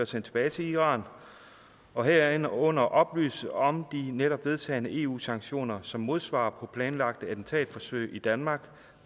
sendt tilbage til iran og herunder oplyse om netop vedtagne eu sanktioner som modsvar på planlagte attentatforsøg i danmark